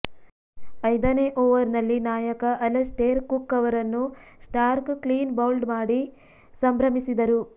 ಐದನೆ ಓವರ್ನಲ್ಲಿ ನಾಯಕ Alastair Cook ಅವರನ್ನು ಸ್ಟಾರ್ಕ್ ಕ್ಲೀನ್ಬೌಲ್ಡ್ ಮಾಡಿ ಸಂಭ್ರಮಿಸಿದರು